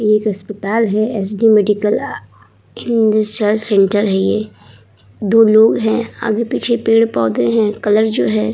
ये एक अस्पताल है। एसडी मेडिकल रिसर्च सेंटर है। दो लोग हैं। आगे पीछे पेड़-पौधे हैं। कलर जो है --